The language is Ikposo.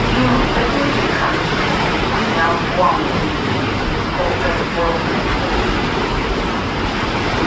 Udunu, edini kika, edini e abuamʋ kʋ ɛkplɔ